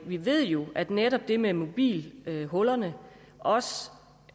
vi ved jo at netop det med mobilhullerne også